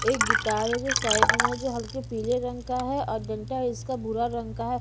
एक गिटार है जो साइड में जो हल्के पीले रंग का है और डंटा इसका बुरा रंग का है।